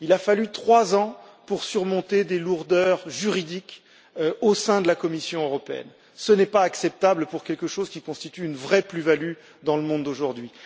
Il a fallu trois ans pour surmonter des lourdeurs juridiques au sein de la Commission européenne. Ce n'est pas acceptable pour un programme qui constitue une vraie plus value dans le monde d'aujourd'hui.